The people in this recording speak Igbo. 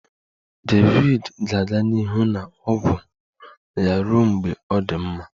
David ga-aga n'ihu na ọgwụ ya ruo mgbe ọ dị mma